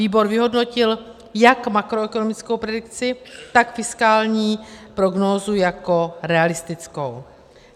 Výbor vyhodnotil jak makroekonomickou predikci, tak fiskální prognózu jako realistickou.